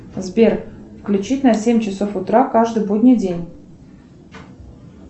сбер включить на семь часов утра каждый будний день